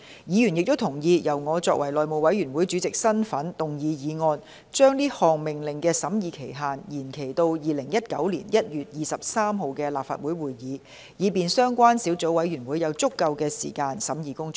議員亦同意，由我以內務委員會主席的身份動議議案，將該項命令的審議期限延展至2019年1月23日的立法會會議，以便相關小組委員會有足夠的時間進行審議工作。